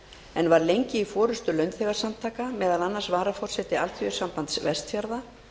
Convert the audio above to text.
en var lengi í forustu launþegasamtaka meðal annars varaforseti alþýðusambands vestfjarða